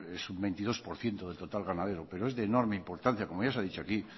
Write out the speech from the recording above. es un veintidós por ciento del total ganadero pero es de enorme importancia como ya se ha dicho aquí